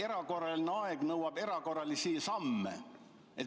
Erakorraline aeg nõuab erakorralisi samme.